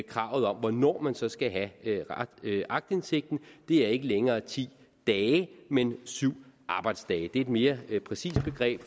kravet om hvornår man så skal have aktindsigten det er ikke længere ti dage men syv arbejdsdage det er et mere præcist begreb